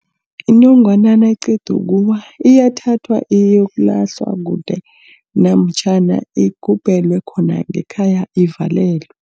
Inongwana nayiqeda ukuwa iyathathwa iyokulahlwa kude, namtjhana igubhelwe khona ngekhaya ivalelwe.